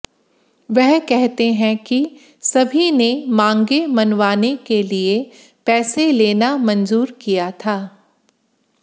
वह कहते हैं कि सभी ने मांगे मनवाने के लिए पैसे लेना मंजूर किया था